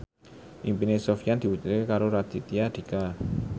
impine Sofyan diwujudke karo Raditya Dika